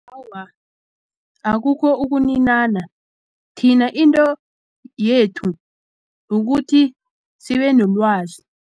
Awa, akukho ukunina thina into yethu kukuthi sibe nolwazi.